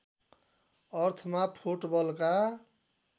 अर्थमा फुटबलका